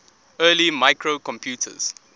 early microcomputers